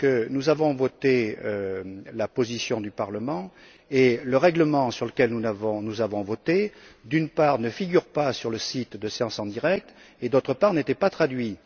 Nous avons en effet voté sur la position du Parlement et le règlement sur lequel nous avons voté, d'une part, ne figure pas sur le site séance en direct et, d'autre part, n'était pas traduit.